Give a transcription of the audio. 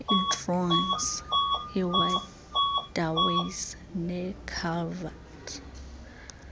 iigroynes iiwaterways neeculverts